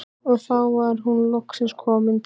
Og þá var hún loksins komin til